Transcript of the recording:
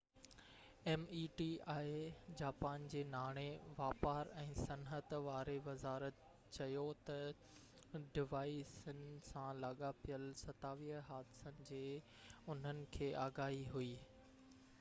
Japan جي ناڻي، واپار ۽ صنحت meti واري وزارت چيو تہ ڊوائيسن سان لاڳاپيل 27 حادثن جي انهن کي آگاهي هئي